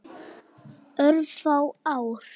Örfá ár.